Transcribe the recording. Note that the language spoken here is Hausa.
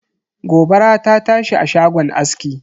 Gobara ta tashi a shagon aski.